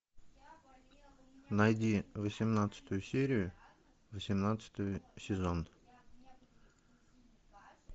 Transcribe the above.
найди восемнадцатую серию восемнадцатый сезон